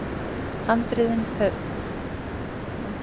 Handritin höfðu verið látin ganga fyrir, sem von var.